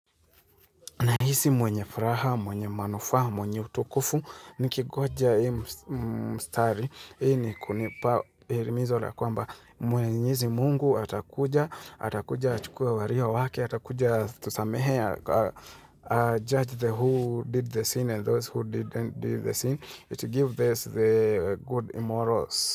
Nahisi mwenye furaha, mwenye manufaa, mwenye utukufu, nikingoja hii mstari. Hii ni kunipa himizo la kwamba mwenyezi mungu atakuja, atakuja achukue walio wake, atakuja atusamehe ajudge the who did the sin and those who didn't do the sin, it give us the good immorals.